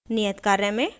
नियत कार्य में